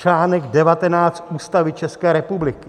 Článek 19 Ústavy České republiky.